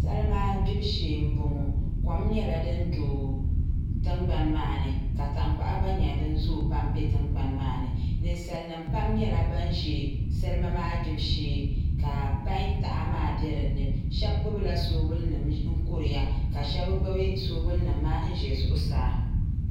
Salima gbubi shee n boŋo kom nyɛla din bɛ tandoɣu maa ni tankpaɣu gba nyɛla din zooi pam bɛ tingbani maa ni ninsal nim pam nyɛla ban ʒɛ salima maa gbibu shee ka pai taha maa bɛ dinni shab gbubila soobuli nim n kuriya ka shab gbubi soobuli nim maa n ʒɛ zuɣusaa